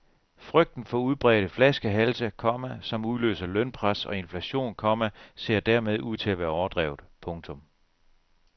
Frygten for udbredte flaskehalse, komma som udløser lønpres og inflation, komma ser dermed ud til at være overdrevet. punktum